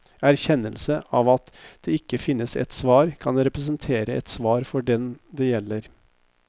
Erkjennelse av at det ikke finnes ett svar, kan representere et svar for den det gjelder.